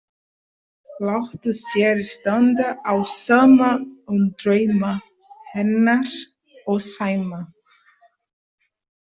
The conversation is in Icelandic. Lætur sér standa á sama um drauma hennar og Sæma.